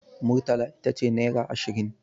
Murtala ita ce naira ashirin.